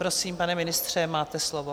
Prosím, pane ministře, máte slovo.